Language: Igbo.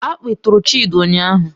Akpị tụrụ Chidi ụnyahụ